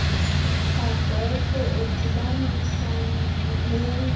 agwetywe edibanisa nomenzi